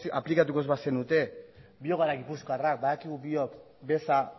aplikatuko ez bazenute biok gara gipuzkoarrak badakigu biok beza